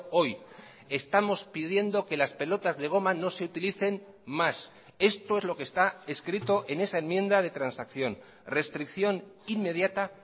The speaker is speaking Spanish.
hoy estamos pidiendo que las pelotas de goma no se utilicen más esto es lo que está escrito en esa enmienda de transacción restricción inmediata